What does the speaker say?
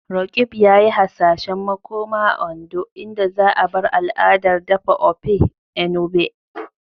Roqeeb yayi hasashen makoma a Ondo, inda za'a bar al'adar dafa Ofe Enugbe.